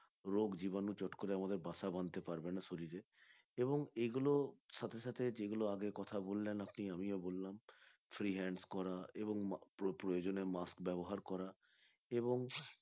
রোগ জীবাণু চট করে আমাদের বাসা বাঁধতে পারবে না শরীরে এবং এগুলো সাথে সাথে যেগুলো আগে কথা বললেন আপনি আমিও বলল free hands করা এবং প্রয়োজনে mask ব্যবহার করা এবং